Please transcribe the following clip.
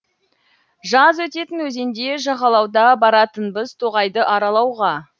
жаз өтетін өзенде жағалауда баратынбыз тоғайды аралауға